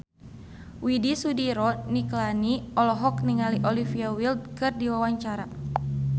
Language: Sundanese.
Widy Soediro Nichlany olohok ningali Olivia Wilde keur diwawancara